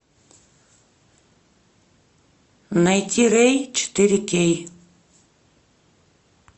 найти рэй четыре кей